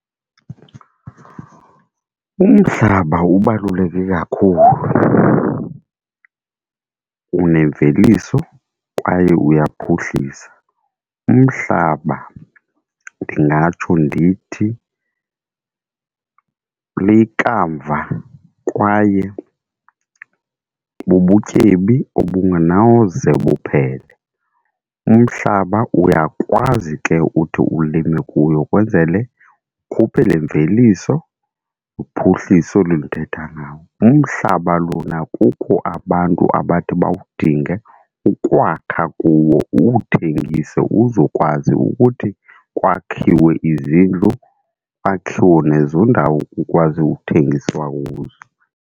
Umhlaba ubaluleke kakhulu, unemveliso kwaye uyaphuhlisa. Umhlaba ndingatsho ndithi likamva kwaye bubutyebi obunganawuze buphele, umhlaba uyakwazi ke uthi ulime kuyo ukwenzele ukhuphe le mveliso uphuhliso olu ndithetha ngawo. Umhlaba lona kukho abantu abathi bawudinge ukwakha kuwo uwuthengise uzokwazi ukuthi kwakhiwe izindlu, kwakhiwe nezo ndawo kukwazi ukuthengiswa kuzo.